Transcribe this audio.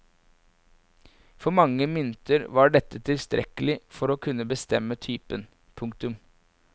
For mange mynter var dette tilstrekkelig for å kunne bestemme typen. punktum